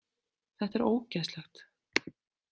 Þetta er ógeðslegt.